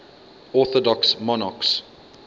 orthodox monarchs